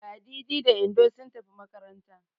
Ladidi da Indo sun tafi makaranta.